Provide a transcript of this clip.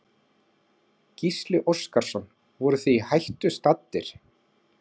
Gísli Óskarsson: Voruð þið í hættu staddir?